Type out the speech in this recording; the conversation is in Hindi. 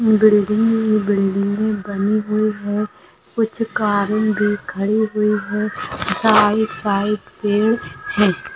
बिल्डिंग बिल्डिंगे बनी हुई है कुछ कारें भी खड़ी हुई हे साइड साइड पेड़ है।